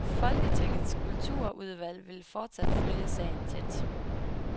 Folketingets kulturudvalg vil fortsat følge sagen tæt.